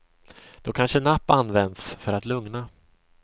Då kanske napp används för att lugna.